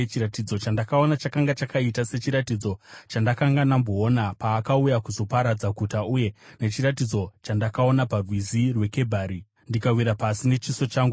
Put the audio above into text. Chiratidzo chandakaona chakanga chakaita sechiratidzo chandakanga ndamboona paakauya kuzoparadza guta uye nechiratidzo chandakaona paRwizi rweKebhari, ndikawira pasi nechiso changu.